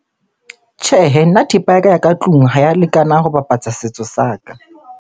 Tjhehe, nna thepa ya ka ya ka tlung ha ya lekana ho bapatsa setso sa ka.